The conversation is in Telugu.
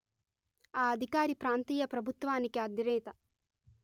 ఆ అధికారి ప్రాంతీయ ప్రభుత్వానికి అధినేత